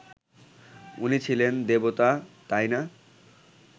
উনি ছিলেন দেবতা, তাই না